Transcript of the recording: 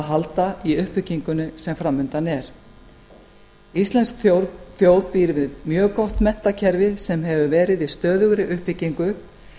halda í uppbyggingunni sem framundan er íslensk þjóð býr við mjög gott menntakerfi sem hefur verið í stöðugri uppbyggingu